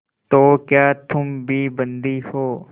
तो क्या तुम भी बंदी हो